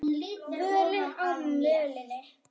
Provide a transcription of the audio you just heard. Völin á mölinni